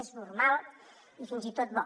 és normal i fins i tot bo